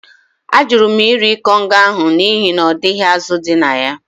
Ajụrụ m iri ikong ahụ n’ihi na ọ dịghị azụ̀ dị na ya